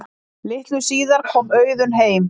Litlu síðar kom Auðunn heim.